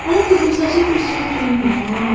Amma qıvrım saça bir söz deməyin ha.